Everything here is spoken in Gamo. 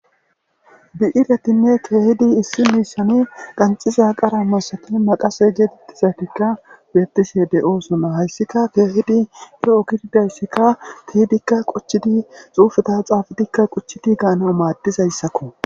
bi'iretinne keehidi issi miisani qanxiza qara masakil maqase geetettizaytikka beettise de oosona hayssika keehidi ye7o kiddayssikka tihidikka qochchidi xuufeta xaafadikka quchchidi gaana maaddizayssakko